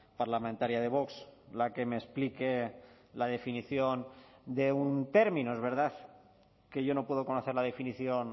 parlamentaria de vox la que me explique la definición de un término es verdad que yo no puedo conocer la definición